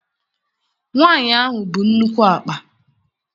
Nwaanyị ahụ bu nnukwu akpa.